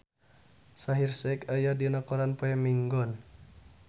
Shaheer Sheikh aya dina koran poe Minggon